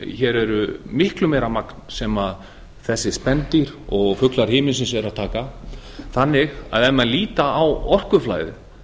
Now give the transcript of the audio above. hér er miklu meira magn sem þessir spendýr og fuglar himinsins eru að taka þannig að ef menn líta á orkuflæðið